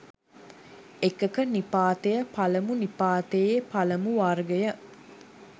එකක නිපාතය පළමු නිපාතයේ පළමු වර්ගය